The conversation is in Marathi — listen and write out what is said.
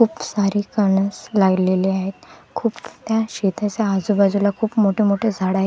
खूप सारे कणस लागलेले आहेत खूप त्या शेताच्या आजूबाजूला खूप मोठे मोठे झाडं आ--